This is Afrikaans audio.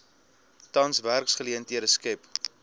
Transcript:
tans werksgeleenthede skep